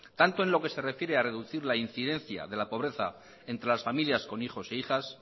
tanto en lo que se refiere a reducir la incidencia de la pobreza entre las familias con hijos e hijas